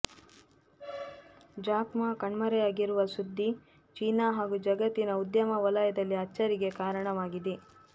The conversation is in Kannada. ಜಾಕ್ ಮಾ ಕಣ್ಮರೆಯಾಗಿರುವ ಸುದ್ದಿ ಚೀನಾ ಹಾಗೂ ಜಗತ್ತಿನ ಉದ್ಯಮ ವಲಯದಲ್ಲಿ ಅಚ್ಚರಿಗೆ ಕಾರಣವಾಗಿದೆ